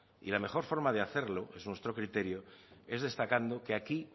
y la mejor forma de hacerlo es nuestro criterio es destacando que aquí